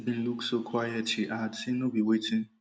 bin look so quiet she add say no be wetin